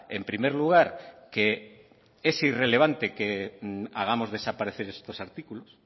en primer lugar que es irrelevante que hagamos desaparecer estos artículos